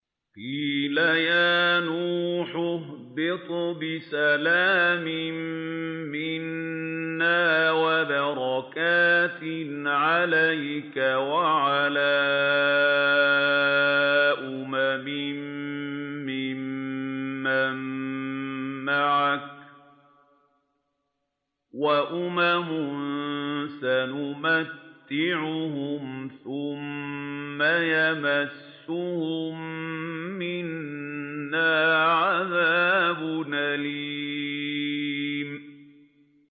قِيلَ يَا نُوحُ اهْبِطْ بِسَلَامٍ مِّنَّا وَبَرَكَاتٍ عَلَيْكَ وَعَلَىٰ أُمَمٍ مِّمَّن مَّعَكَ ۚ وَأُمَمٌ سَنُمَتِّعُهُمْ ثُمَّ يَمَسُّهُم مِّنَّا عَذَابٌ أَلِيمٌ